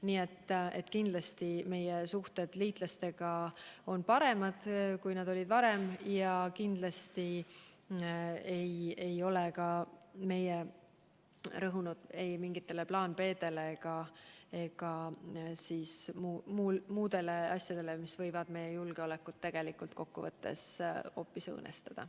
Nii et kindlasti meie suhted liitlastega on paremad, kui nad olid varem ja kindlasti ei ole ka meie rõhunud ei mingitele plaan B-dele ega ka muudele asjadele, mis võivad meie julgeolekut tegelikult kokkuvõttes hoopis õõnestada.